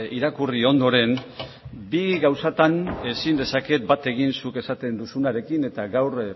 irakurri ondoren bi gauzatan ezin dezaket bat egin zuk esaten duzunarekin eta gaur